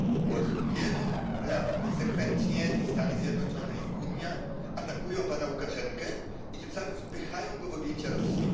Od wielu lat konsekwentnie i Stany Zjednoczone i Unia atakują pana Łukaszenkę i tym samym wpychają go w objęcia Rosji.